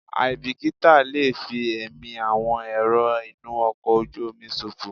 Àìbìkítà lè fi ẹ̀mí àwọn èrò inú ọkọ̀ ojú omi ṣòfò.